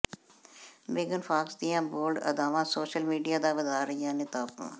ਮੇਗਨ Fox ਦੀਆਂ bold ਅਦਾਵਾਂ social media ਦਾ ਵਧਾ ਰਹੀਆਂ ਨੇ ਤਾਪਮਾਨ